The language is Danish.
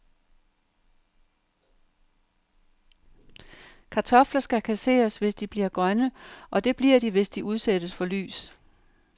Kartofler skal kasseres, hvis de bliver grønne, og det bliver de, hvis de udsættes for lys.